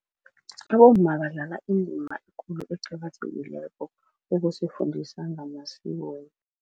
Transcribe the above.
Abomma badlala indima ekulu eqakathekileko ukusifundisa ngamasiko.